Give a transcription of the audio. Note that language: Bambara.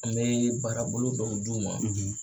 An bɛ baarabolo dɔw d'u ma,